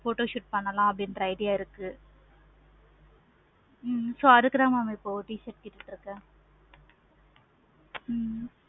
photoshoot பண்ணலாம் அப்படின்ற idea இருக்கு. ஹம் so அதுக்கு தான் t-shirt கேட்டுட்டு இருக்கேன் ஹம் okay